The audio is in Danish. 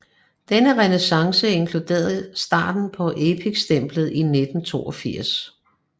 Denne renæssance inkluderede starten på Epic stemplet i 1982